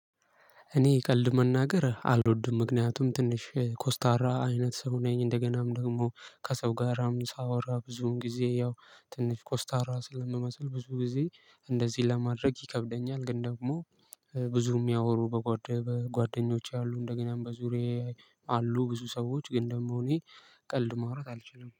እኔ ቀልድ መናገር አልወድም ምክንያቱም ትንሽ ኮስታራ አይነት ሰው ነኝ እንደገናም ደግሞ ከሰው ጋርም ሳወራ ብዙን ጊዜ ያው ትንሽ ኮስታራ ስለምመስል ብዙ ጊዜ እንደዚህ ለማድረግ ይከብደኛል። ግን ደግሞ እ ብዙ የሚያወሩ በጓደኞቼ ያሉ እንደገናም በዙሬ አሉ። ብዙ ሰዎች ግን ደግሞ እኔ ቀልድ ማውራት አልችልም